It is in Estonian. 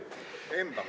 Embame.